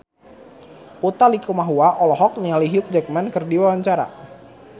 Utha Likumahua olohok ningali Hugh Jackman keur diwawancara